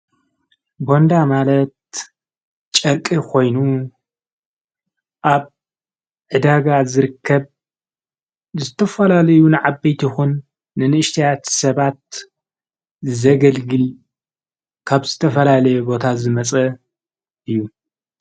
በንዳ ማለት ጨርቂ ኾይኑ ኣብ ዕዳጋ ዝርከብ ዝተፈላለዩን ዓበይትይኹን ንንእሽትያት ሰባት ዘገልግል ካብ ዝተፈላለየ ቦታ ዝመፀ እዩ።